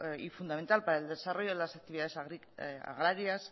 y fundamental para el desarrollo de las actividades agrarias